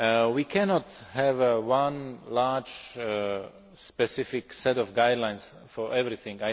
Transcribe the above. We cannot have one large specific set of guidelines for everything.